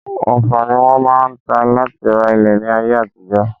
Ọfà ni wọ́n máa ń ta láti ra ilẹ̀ ní ayé àtijọ́